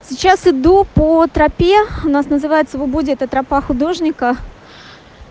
сейчас иду по тропе у нас называется в убуде это тропа художника